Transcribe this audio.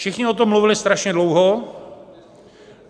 Všichni o tom mluvili strašně dlouho.